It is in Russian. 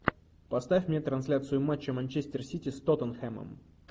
поставь мне трансляцию матча манчестер сити с тоттенхэмом